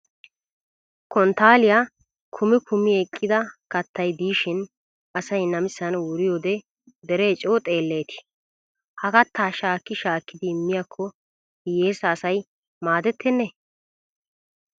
Konttaalliya kumi kumi eqqida kattay diishin asay namisan wuriyoode deree coo xeelleti! Ha kattaa shaakki shaakkidi immiyakko hiyyeesa asay maadettennee?